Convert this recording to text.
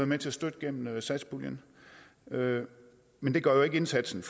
med til at støtte gennem satspuljen men det gør jo ikke indsatsen